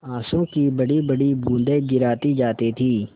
आँसू की बड़ीबड़ी बूँदें गिराती जाती थी